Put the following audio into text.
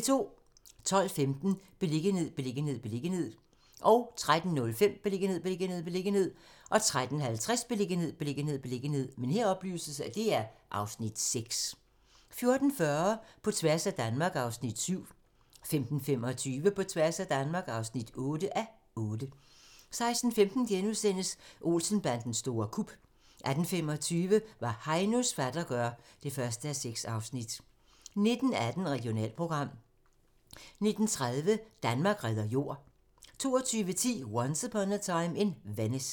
12:15: Beliggenhed, beliggenhed, beliggenhed 13:05: Beliggenhed, beliggenhed, beliggenhed 13:50: Beliggenhed, beliggenhed, beliggenhed (Afs. 6) 14:40: På tværs af Danmark (7:8) 15:25: På tværs af Danmark (8:8) 16:15: Olsen-bandens store kup * 18:25: Hvad Heinos fatter gør (1:6) 19:18: Regionalprogram 19:30: Danmark redder jord 22:10: Once Upon a Time in Venice